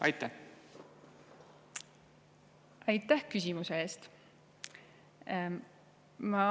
Aitäh küsimuse eest!